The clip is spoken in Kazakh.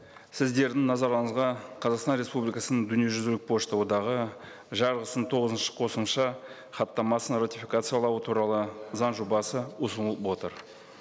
сіздердің назарларыңызға қазақстан республикасының дүниежүзілік пошта одағы жарғысының тоғызыншы қосымша хаттамасын ратификациялау туралы заң жобасы ұсынылып отыр